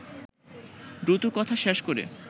দ্রুত কথা শেষ করে